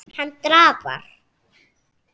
Hann drafar.